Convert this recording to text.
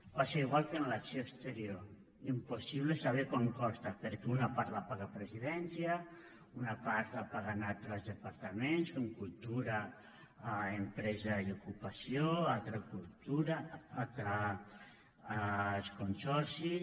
passa igual que amb l’acció exterior impossible saber quant costa perquè una part la paga presidència una part la paguen altres departaments com cultura empresa i ocupació una altra els consorcis